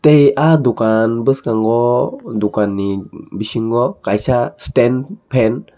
e ah dokan boskango dokani bisingo kaisa stand fan.